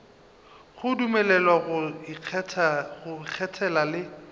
go dumelelwa go ikgethela le